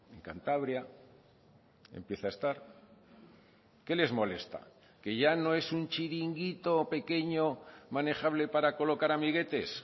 en cantabria empieza a estar qué les molesta que ya no es un chiringuito pequeño manejable para colocar amiguetes